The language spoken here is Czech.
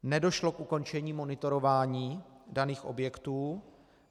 Nedošlo k ukončení monitorování daných objektů.